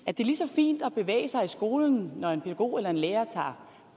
at det er lige så fint at bevæge sig i skolen når en pædagog eller en lærer tager